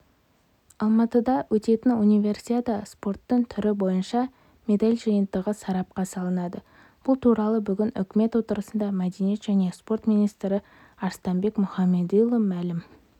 алматыда өтетін универсиададаспорттың түрі бойынша медаль жиынтығы сарапқа салынады бұл туралы бүгін үкімет отырысында мәдениет және спорт министрі арыстанбек мұхамедиұлы мәлім